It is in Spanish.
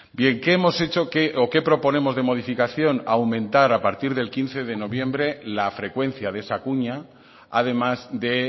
bien qué hemos hecho o qué proponemos de modificación aumentar a partir del quince de noviembre la frecuencia de esa cuña además de